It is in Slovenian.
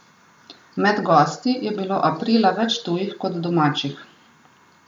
Med gosti je bilo aprila več tujih kot domačih.